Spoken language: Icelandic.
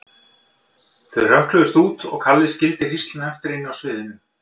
Þau hrökkluðust út og Kalli skildi hrísluna eftir inni á sviðinu.